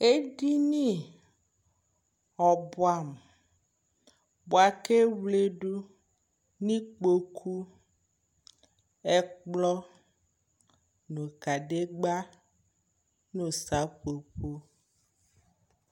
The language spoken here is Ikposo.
alʋɛdini yanʋ ɛvɛ, alɛ sʋkʋ ɛvidzɛ ni, atani ka srɔ ɛsɛ, ʋvi di yanʋ atami ili, kʋ ɔka wama alɛ adʋɛ ɛkʋ nʋ ʋti, ɛdigbɔ di ayi awʋ lɛ ɔwlɔmʋ kʋ ɔƒʋɛ dʋ ɛtsɛdɛ